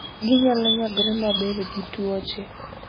Ginyalo nyagore maber gi tuoche.